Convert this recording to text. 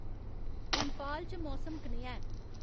इंफाल च मौसम कनेहा ऐ